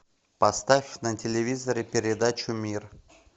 поставь на телевизоре передачу мир